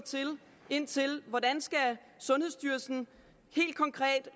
ind til hvordan sundhedsstyrelsen helt konkret